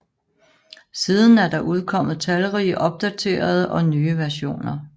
Siden er der udkommet talrige opdaterede og nye versioner